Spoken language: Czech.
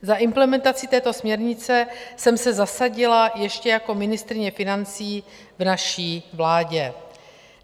Za implementaci této směrnice jsem se zasadila ještě jako ministryně financí v naší vládě.